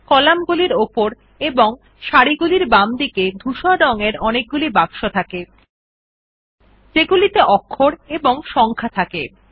কলামগুলির উপর এবং সারিগুলির বামদিকে ধূসর রঙের অনেকগুলি বাক্স আছে যেগুলিতে অক্ষর এবং সংখা থাকে